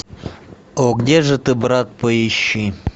о где же ты брат поищи